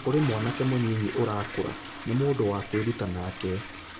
Kũri mwanake mũnyinyi urakũra, nĩ mũndũwa kwĩruta nake.